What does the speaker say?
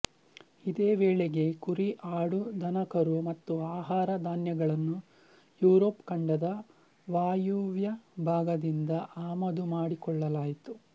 ಇದೇ ವೇಳೆಗೆ ಕುರಿಆಡುದನಕರು ಮತ್ತು ಆಹಾರ ಧಾನ್ಯಗಳನ್ನು ಯುರೊಪ್ ಖಂಡದ ವಾಯುವ್ಯ ಭಾಗದಿಂದ ಆಮದು ಮಾಡಿಕೊಳ್ಳಲಾಯಿತು